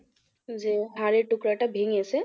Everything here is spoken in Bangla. যে হাড়ের টুকরাটা ভেঙেছে